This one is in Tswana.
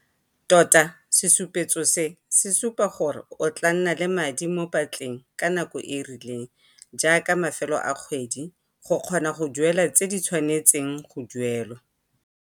Tota, sesupetso se se supa gore o tlaa nna le madi mo patleng ka nako e e rileng, jaaka ka mafelo a kgwedi, go kgona go duela tse di tshwanetseng go duelwa.